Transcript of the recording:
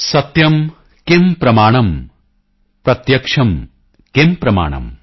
ਸਤਯਮ ਕਿਮ ਪ੍ਰਮਾਣਮ ਪ੍ਰਤਯਕਸ਼ਮ ਕਿਮ ਪ੍ਰਮਾਣਮ